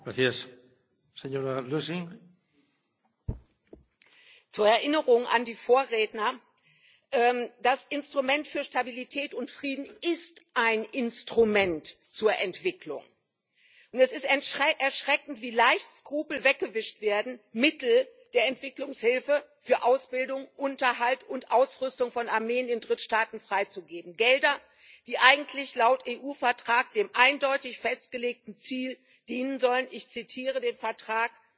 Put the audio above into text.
Herr Präsident! Zur Erinnerung an die Vorredner Das Instrument für Stabilität und Frieden ist ein Instrument zur Entwicklung, und es ist erschreckend, wie leicht Skrupel weggewischt werden, um Mittel der Entwicklungshilfe für Ausbildung, Unterhalt und Ausrüstung von Armeen in Drittstaaten freizugeben, Gelder, die eigentlich laut EU Vertrag dem eindeutig festgelegten Ziel dienen sollen ich zitiere den Vertrag